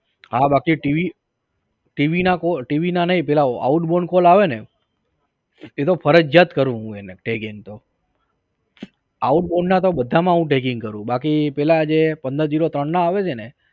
હા બાકી tv tv ના કો tv ના નઈ પેલા outgoing call આવે ને એતો ફરજીયાત કરું હું એને tagging તો outgoing ના તો બધા માં હું tagging કરું બાકી પેલા જે પંદર zero ત્રણ ના આવે છે ને